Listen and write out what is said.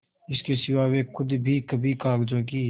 इसके सिवा वे खुद भी कभी कागजों की